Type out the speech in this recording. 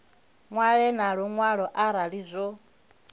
ṅwale na luṅwalo arali zwo